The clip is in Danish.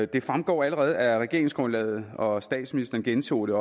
det fremgår allerede af regeringsgrundlaget og statsministeren gentog det